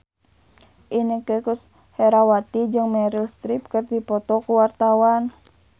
Inneke Koesherawati jeung Meryl Streep keur dipoto ku wartawan